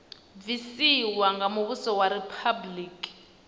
bvisiwa nga muvhuso wa riphabuliki